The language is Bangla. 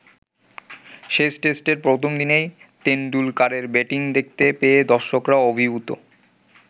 শেষ টেস্টের প্রথমদিনেই তেন্ডুলকারের ব্যাটিং দেখতে পেয়ে দর্শকরা অভিভূত।